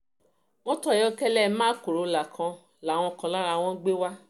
mọ́tò ayọ́kẹ́lẹ́ mark corona kan làwọn kan lára wọn gbé wá